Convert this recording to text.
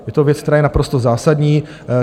Je to věc, která je naprosto zásadní.